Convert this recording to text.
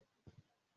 Màá dúró sí ibí.